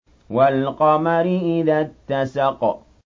وَالْقَمَرِ إِذَا اتَّسَقَ